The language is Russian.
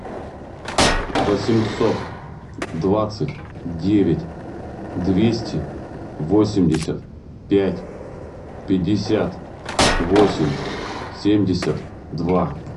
восемьсот двадцать девять двести восемьдесят пять пятьдесят восемь семьдесят два